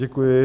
Děkuji.